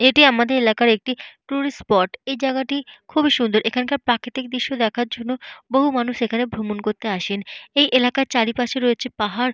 এটি আমাদের এলাকার একটি টুরিস্ট স্পট । এই জায়গাটি খুবই সুন্দর। এখানকার প্রাকৃতিক দৃশ্য দেখার জন্য বহু মানুষ এখানে ভ্রমন করতে আসেন। এই এলাকার চারিপাশে রয়েছে পাহাড়।